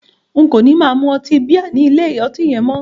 N kò ní máa mu ọtí bíà ní ilé ọtí yẹn mọ́.